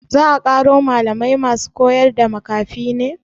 Za a ƙaro malamai masu koyarda makafi ne?